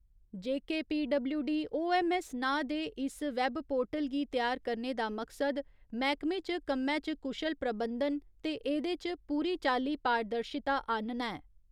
JKPWDOMMS नांऽ दे इस वैबपोर्टल गी त्यार करने दा मकसद मैह्कमे च कम्मै च कुशल प्रबंधन ते एह्दे च पूरी चाली पारदर्शिता आह्‌नना ऐ।